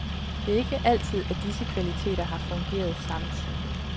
Det er ikke altid, at disse kvaliteter har fungeret samtidig.